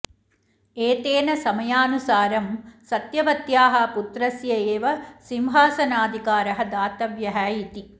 एतेन समयानुसारं सत्यवत्याः पुत्रस्य एव सिंहासनाधिकारः दातव्यः इति